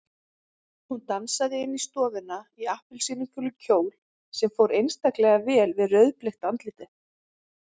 Hún dansaði inn í stofuna í appelsínugulum kjól sem fór einstaklega vel við rauðbleikt andlitið.